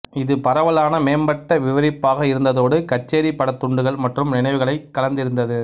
இது பரவலான மேம்பட்ட விவரிப்பாக இருந்ததோடு கச்சேரி படத் துண்டுகள் மற்றும் நினைவுகளைக் கலந்திருந்தது